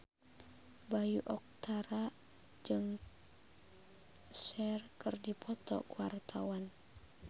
Bayu Octara jeung Cher keur dipoto ku wartawan